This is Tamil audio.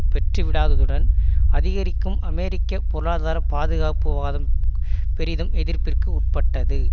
பெற்றுவிடாததுடன் அதிரிக்கும் அமெரிக்க பொருளாதார பாதுகாப்புவாதம் பெரிதும் எதிர்ப்பிற்கு உட்பட்டது